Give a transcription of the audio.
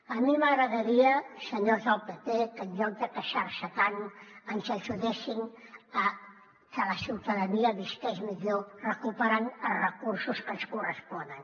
a mi m’agradaria senyors del pp que en lloc de queixar se tant ens ajudessin a que la ciutadania visqués millor recuperant els recursos que ens corresponen